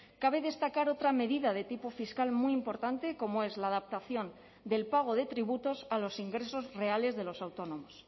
cabe destacar otra medida de tipo fiscal muy importante como es la adaptación del pago de tributos a los ingresos reales de los autónomos